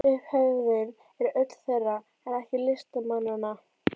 Upphefðin er öll þeirra, en ekki listamannanna.